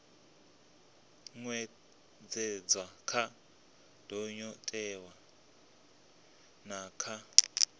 ṅetshedzwa kha ndayotewa na kha